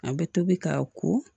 An bɛ tobi k'a ko